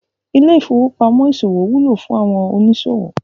Ilé ìfowópamó ìsòwò wúlò fún àwọn òníṣòwò